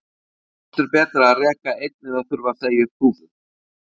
Hvort er betra að reka einn eða þurfa að segja upp þúsund?